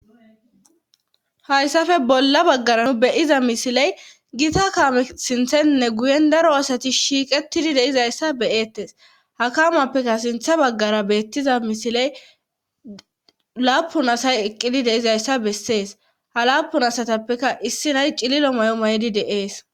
hayssafe bolla baggara nu beyiza misiley gita kaame sinthenne guyen daro asati shiiqettidi deizayssa beeettes hakamappeka sintha baggara beettiza misiley laapun asay eqqidi deizayssa bessees ha laapun asatappeka issi nay cililo may7o maydi deees